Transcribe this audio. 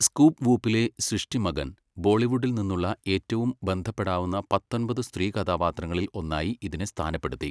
Scoop വൂപ്പിലെ സൃഷ്ടി മഗൻ, ബോളിവുഡിൽ നിന്നുള്ള ഏറ്റവും ബന്ധപ്പെടാവുന്ന പത്തൊൻപത് സ്ത്രീകഥാപാത്രങ്ങളിൽ ഒന്നായി ഇതിനെ സ്ഥാനപ്പെടുത്തി.